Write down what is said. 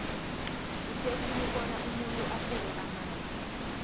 kuhle khulu bona umuntu asele amanzi